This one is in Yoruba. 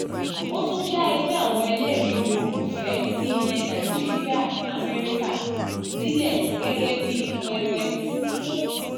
ó tún dá ẹgbẹ́ àwọn ẹlẹ́rìí olùfẹ̀ẹ́ ti ilẹ̀ nàìjíríà-amẹ́ríkà (nava) sílẹ̀ gẹ́gẹ́ bí pẹpẹ fún